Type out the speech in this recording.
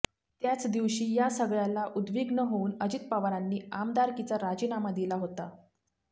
त्याचदिवशी या सगळ्याला उद्विग्न होऊन अजित पवारांनी आमदारकीचा राजीनामा दिला होता